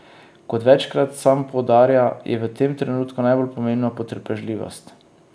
Kot večkrat sam poudarja, je v tem trenutku najbolj pomembna potrpežljivost.